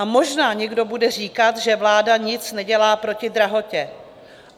A možná někdo bude říkat, že vláda nic nedělá proti drahotě.